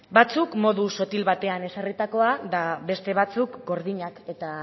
batzuk modu sotil batean ezarritakoa eta beste batzuk gordinak eta